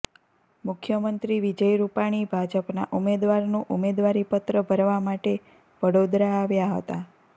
મુખ્યમંત્રી વિજય રૂપાણી ભાજપના ઉમેદવારનું ઉમેદવારી પત્ર ભરવા માટે વડોદરા આવ્યા હતા